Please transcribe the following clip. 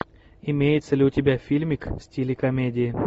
имеется ли у тебя фильмик в стиле комедии